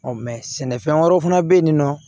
mɛ sɛnɛfɛn wɛrɛw fana bɛ yen nɔ